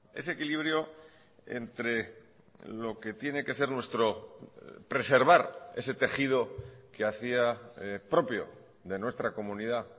ese equilibrio entre lo que tiene que ser nuestro preservar ese tejido que hacía propio de nuestra comunidad